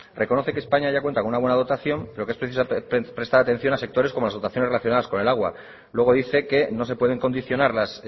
reconoce que españa ya cuenta con una buena dotación pero que es preciso prestar atención a sectores como las dotaciones relacionadas con el agua luego dice que no se pueden condicionar las